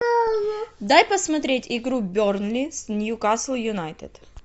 дай посмотреть игру бернли с ньюкасл юнайтед